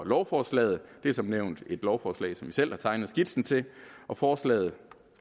lovforslaget det er som nævnt et lovforslag som vi selv har tegnet skitsen til forslaget